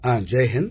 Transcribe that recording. Jai Hind